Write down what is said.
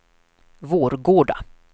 Vårgårda